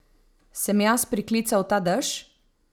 Sem jaz priklical ta dež?